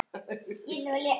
Og frábær sem slíkur.